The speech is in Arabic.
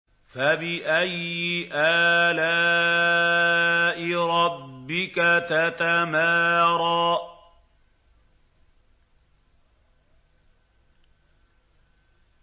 فَبِأَيِّ آلَاءِ رَبِّكَ تَتَمَارَىٰ